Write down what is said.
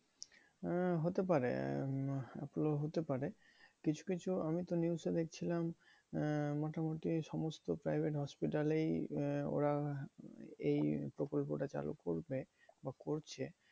আহ হতে পারে আহ এপোলো হতে পারে। কিছু কিছু আমি তো news এ দেখছিলাম আহ মোটামুটি সমস্ত private hospital এই ওরা এই প্রকল্পটা চালু করবে বা করছে।